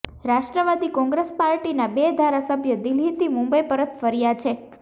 રાષ્ટ્રવાદી કોંગ્રેસ પાર્ટીના બે ધારાસભ્યો દિલ્હીથી મુંબઈ પરત ફર્યા છે